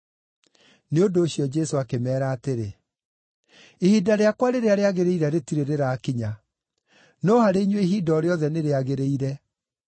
Nĩ ũndũ ũcio, Jesũ akĩmeera atĩrĩ, “Ihinda rĩakwa rĩrĩa rĩagĩrĩire rĩtirĩ rĩrakinya; no harĩ inyuĩ ihinda o rĩothe nĩrĩagĩrĩire.